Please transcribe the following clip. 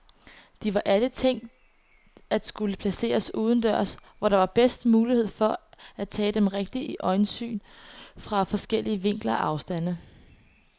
De var alle tænkt at skulle placeres udendørs, hvor der er bedst mulighed for at tage dem rigtigt i øjesyn fra forskellige vinkler og afstande.